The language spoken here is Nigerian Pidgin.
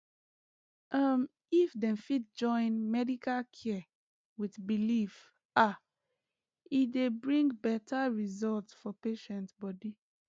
um if dem fit join medical care with belief ah e dey bring better result for patient body